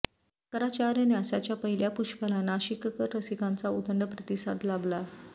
शंकराचार्य न्यासाच्या पहिल्या पुष्पाला नाशिककर रसिकांचा उदंड प्रतिसाद लाभला